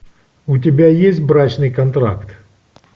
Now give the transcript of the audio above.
у тебя есть брачный контракт